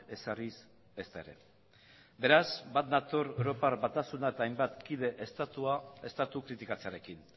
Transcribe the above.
ezarriz ezta ere beraz bat nator europar batasuna eta hainbat kide estatu kritikatzearekin